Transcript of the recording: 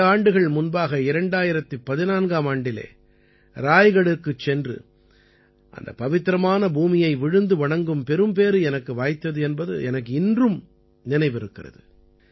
சில ஆண்டுகள் முன்பாக 2014ஆம் ஆண்டிலே ராய்கடிற்குச் சென்று அந்தப் பவித்திரமான பூமியை விழுந்து வணங்கும் பெரும்பேறு எனக்கு வாய்த்தது என்பது எனக்கு இன்றும் நினைவிருக்கிறது